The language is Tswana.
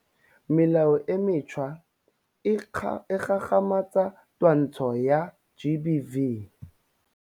Melao e mentšhwa e gagamatsa twantsho ya GBV.